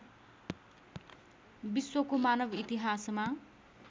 विश्वको मानव इतिहासमा